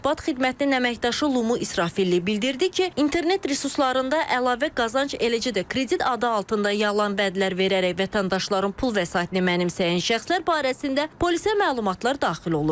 Mətbuat xidmətinin əməkdaşı Lumu İsrafil li bildirdi ki, internet resurslarında əlavə qazanc, eləcə də kredit adı altında yalan vədlər verərək vətəndaşların pul vəsaitini mənimsəyən şəxslər barəsində polisə məlumatlar daxil olur.